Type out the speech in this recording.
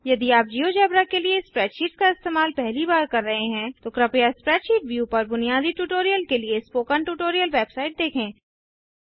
यदि आप जियोजेब्रा के लिए स्प्रैडशीट्स का इस्तेमाल पहली बार कर रहे हैं तो कृपया स्प्रैडशीट व्यू पर बुनियादी ट्यूटोरियल के लिए स्पोकन ट्यूटोरियल वेबसाइट देखें